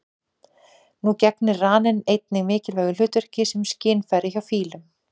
Nú gegnir raninn einnig mikilvægu hlutverki sem skynfæri hjá fílum.